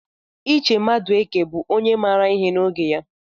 Iche Madueke bụ onye maara ihe n'oge ya.